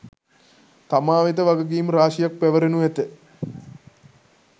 තමා වෙත වගකීම් රාශියක් පැවරෙනු ඇත.